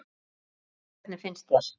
Jóhanna: Hvernig finnst þér?